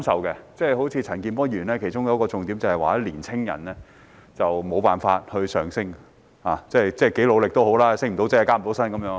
例如陳健波議員發言的其中一個重點是年青人沒有辦法向上流動，多努力也升不了職、加不了薪。